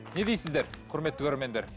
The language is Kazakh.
не дейсіздер құрметті көрермендер